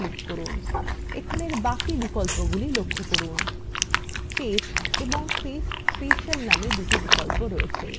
এখানে বাকি বিকল্পগুলি লক্ষ্য করুন paste এবং paste special নামে দুটি বিকল্প রয়েছে